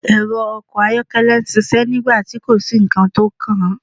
Ẹrọ ọkọ ayọkẹlẹ n ṣiṣẹ nigbati ko si nkan ti o kan